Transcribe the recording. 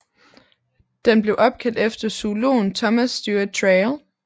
Den blev opkaldt efter zoologen Thomas Stewart Traill